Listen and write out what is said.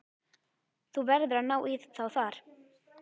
Þú verður að ná í þá þar.